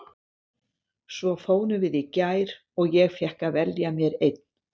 Svo fórum við í gær og ég fékk að velja mér einn.